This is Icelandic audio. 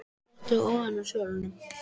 Að hann hefði dottið ofan af svölunum!